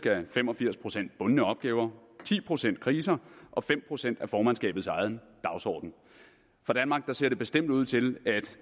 af fem og firs procent bundne opgaver og ti procent kriser og fem procent er formandskabets egen dagsorden for danmark ser det bestemt ud til at